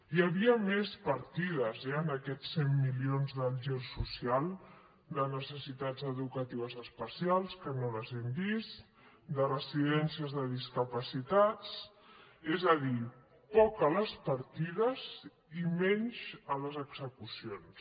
hi havia més partides eh en aquests cent milions del gir social de necessitats educatives especials que no les hem vist de residències de discapacitats és a dir poc a les partides i menys a les execucions